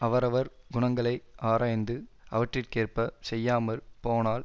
அவரவர் குணங்களை ஆராய்ந்து அவற்றிற்கேற்பச் செய்யாமற் போனால்